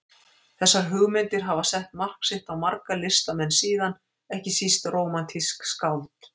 Þessar hugmyndir hafa sett mark sitt á marga listamenn síðan, ekki síst rómantísk skáld.